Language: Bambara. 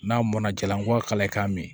N'a mɔnna jalan kɔwa i k'a min